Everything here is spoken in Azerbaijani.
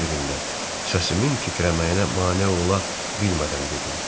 Hər birində səsimin titrəməyinə mane ola bilmədən dedim.